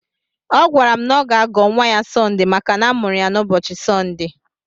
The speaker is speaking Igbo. Ọ gwara m na ọ ga-agọ nwa ya Sọnde maka na amụrụ ya n'ụbọchị Sọnde.